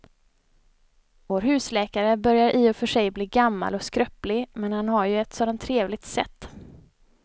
Vår husläkare börjar i och för sig bli gammal och skröplig, men han har ju ett sådant trevligt sätt!